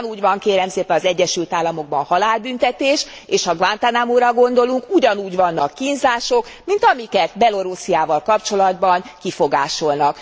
Ugyanúgy van kérem szépen az Egyesült Államokban halálbüntetés, és ha Guantanamóra gondolunk, ugyanúgy vannak kínzások, mint amiket Belorussziával kapcsolatban kifogásolnak.